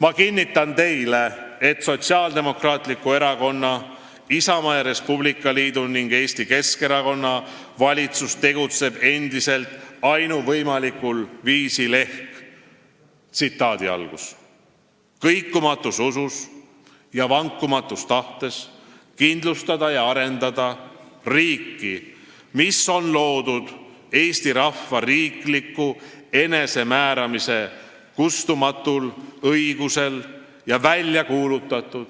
Ma kinnitan teile, et Sotsiaaldemokraatliku Erakonna, Isamaa ja Res Publica Liidu ning Eesti Keskerakonna valitsus tegutseb endiselt ainuvõimalikul viisil: "Kõikumatus usus ja vankumatus tahtes kindlustada ja arendada riiki, mis on loodud Eesti rahva riikliku enesemääramise kustumatul õigusel ja välja kuulutatud